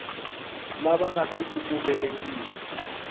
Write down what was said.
lava nga si ku velekiwaka